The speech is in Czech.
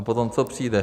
A potom co přijde?